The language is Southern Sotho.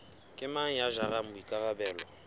ke mang ya jarang boikarabelo